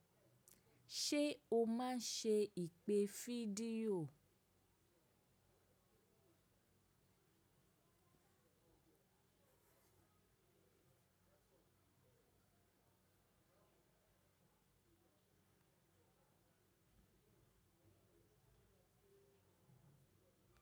Ṣé o máa ń ṣe ìpè fídíò?